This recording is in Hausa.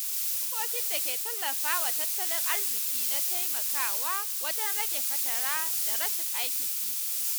Dokokin da ke tallafawa tattalin arziki na taimakawa wajen rage fatara da rashin aikin yi.